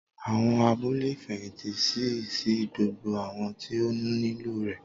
Awọn abule ifẹhinti ṣii si gbogbo awọn ti o nilo rẹ